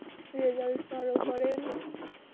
Result ভালো করেন